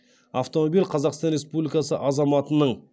автомобиль қазақстан республикасы азаматының